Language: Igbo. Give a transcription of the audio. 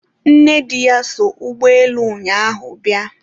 nnedi ya so ụgbọelu ụnyaahụ bịa